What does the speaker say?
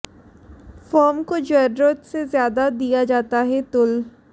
form को जरूरत से ज्यादा दिया जाता है तूल